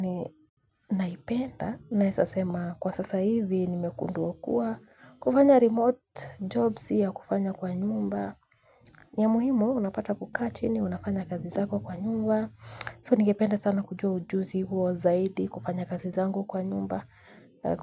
Ni naipenda, naezasema kwa sasa hivi ni mekundua kuwa, kufanya remote job siya kufanya kwa nyumba. Niya muhimu, unapata kukaa chi ni unafanya kazi zako kwa nyumba. So, ningependa sana kujua ujuzi huo zaidi, kufanya kazi zangu kwa nyumba,